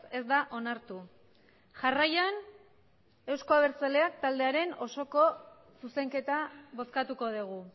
ez da onartu jarraian euzko abertzaleak taldearen osoko zuzenketa bozkatuko dugu